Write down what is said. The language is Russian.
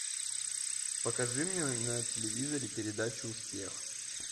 покажи мне на телевизоре передачу успех